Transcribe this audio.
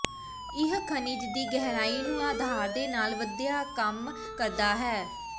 ਇਹ ਖਣਿਜ ਦੀ ਗਹਿਰਾਈ ਨੂੰ ਆਧਾਰ ਦੇ ਨਾਲ ਵਧੀਆ ਕੰਮ ਕਰਦਾ ਹੈ